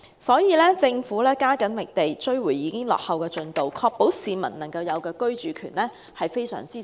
所以，政府必須加緊覓地，追回已經落後的進度，確保市民的居住權。